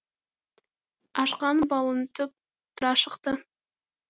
ашқан балың тұп тұра шықты